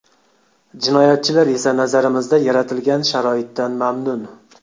Jinoyatchilar esa nazarimizda yaratilgan sharoitdan mamnun.